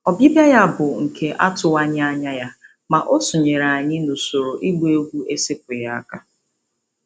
Ọbịbịa ya bụ nke atụwaghị anya ya, ma o sonyeere anyị n'usoro ịgba egwu esepụghị aka.